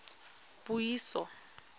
puiso